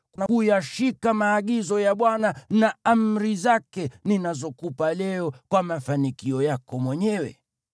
na kuyashika maagizo ya Bwana na amri zake ninazokupa leo kwa mafanikio yako mwenyewe?